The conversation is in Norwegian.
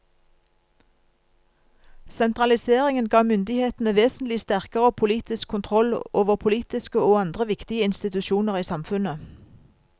Sentraliseringen ga myndighetene vesentlig sterkere politisk kontroll over politiske og andre viktige institusjoner i samfunnet.